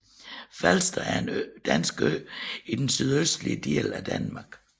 Falster er en dansk ø i den sydøstlige del af Danmark